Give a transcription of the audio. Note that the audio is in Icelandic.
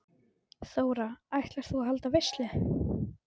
Þóra: Ætlar þú að halda veislu?